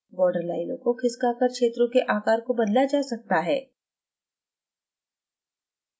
borderlines को खिसका कर क्षेत्रों के आकार को बदला जा सकता है